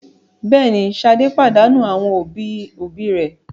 Bẹ́ẹ̀ ni, Ṣadé pàdánù àwọn òbí-òbí rẹ̀.